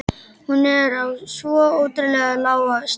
Hún er á svo ótrúlega lágu stigi.